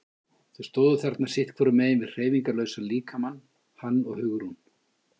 Þau stóðu þarna sitt hvorum megin við hreyfingarlausan líkamann, hann og Hugrún.